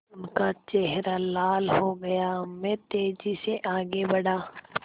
उनका चेहरा लाल हो गया मैं तेज़ी से आगे बढ़ा